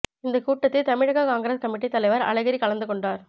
இந்த கூட்டத்தில் தமிழக காங்கிரஸ் கமிட்டி தலைவர் அழகிரி கலந்து கொண்டார்